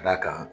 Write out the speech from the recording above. Ka d'a kan